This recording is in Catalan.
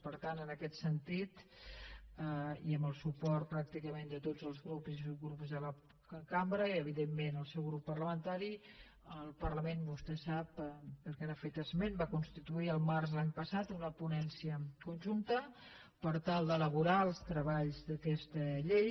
per tant en aquest sentit i amb el suport pràcticament de tots els grups i subgrups de la cambra i evidentment del seu grup parlamentari el parlament vostè ho sap perquè n’ha fet esment va constituir el març de l’any passat una ponència conjunta per tal d’elaborar els treballs d’aquesta llei